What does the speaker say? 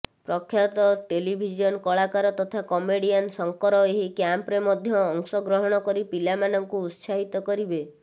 ପ୍ରଖ୍ୟାତ ଟେଲିଭିଜନ କଳାକାର ତଥା କମେଡ଼ିଆନ୍ ଶଙ୍କର ଏହି କ୍ୟାମ୍ପରେ ମଧ୍ୟ ଅଂଶଗ୍ରହଣ କରି ପିଲାମାନଙ୍କୁ ଉତ୍ସାହିତ କରିବେ